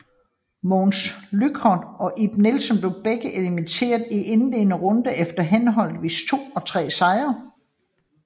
Mogens Lüchow og Ib Nielsen blev begge elimineret i indledende runde efter henholdsvis to og tre sejre